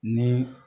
Ni